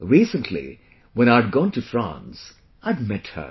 Recently, when I had gone to France, I had met her